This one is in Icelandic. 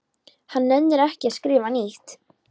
Hann nennir ekki að skrifa nýtt.